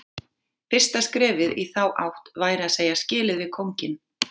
Fyrsta skrefið í þá átt væri að segja skilið við kónginn.